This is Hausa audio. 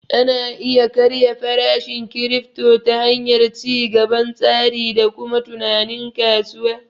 Ana iya karya farashin kirifto ta hanyar ci gaban tsari da kuma tunanin kasuwa